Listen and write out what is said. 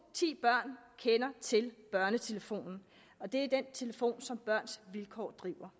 ti børn kender til børnetelefonen det er den telefon som børns vilkår driver